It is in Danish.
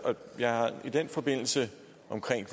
jeg har i den forbindelse